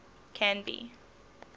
canby